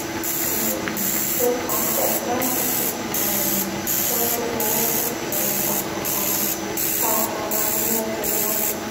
um lò papò láti fi um tọjú owó fún èròngbà pàtàkì tá a jọ máa ní lọjọiwájú